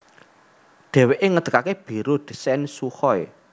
Dhèwèké ngedegaké Biro Désain Sukhoi